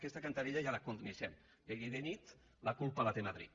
aquesta cantarella ja la coneixem de dia i de nit la culpa la té madrid